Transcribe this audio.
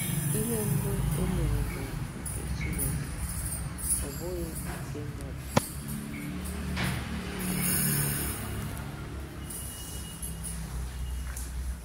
Ihe mbụ e mere bụ nke Chineke, ọ bụghị nke mmadụ.